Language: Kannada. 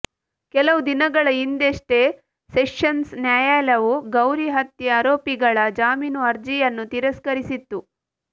ಕೆಲವು ದಿನಗಳ ಹಿಂದಷ್ಟೆ ಸೆಷನ್ಸ್ ನ್ಯಾಯಾಲಯವು ಗೌರಿ ಹತ್ಯೆ ಆರೋಪಿಗಳ ಜಾಮೀನು ಅರ್ಜಿಯನ್ನು ತಿರಸ್ಕರಿಸಿತ್ತು